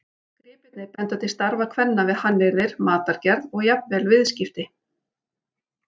Gripirnir benda til starfa kvenna við hannyrðir, matargerð og jafnvel viðskipti.